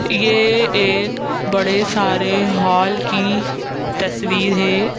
ये एक बड़े सारे हॉल की तस्वीर है।